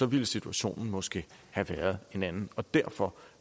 ville situationen måske have været en anden derfor